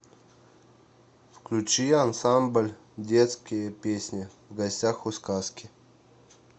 включи ансамбль детские песни в гостях у сказки